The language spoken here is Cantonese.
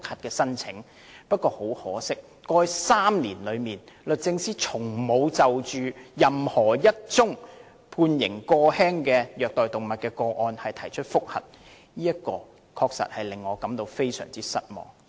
然而，很可惜，在過去3年，律政司從沒有就任何判刑過輕的虐待動物個案提出覆核，這確實令我非常失望。